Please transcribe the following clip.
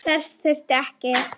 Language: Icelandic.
Þess þurfti ekki.